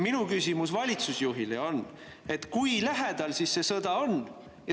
Minu küsimus valitsusjuhile on, et kui lähedal siis see sõda on.